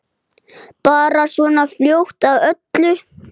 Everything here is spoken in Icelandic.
Bara svona fljót að öllu.